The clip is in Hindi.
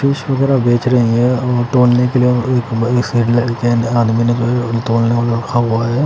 वगैरा बेच रही है --